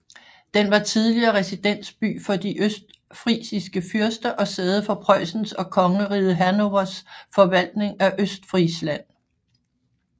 Den var tidligere residensby for de østfrisiske fyrster og sæde for Preussens og Kongeriget Hannovers forvaltning af Østfrisland